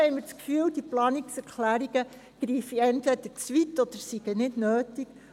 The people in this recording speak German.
Deshalb greifen diese Planungserklärungen entweder zu weit oder sie sind nicht nötig.